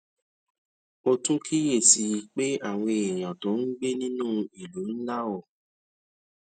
mo tún kíyè sí i pé àwọn èèyàn tó ń gbé ní àwọn ìlú ńlá ò